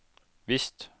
visst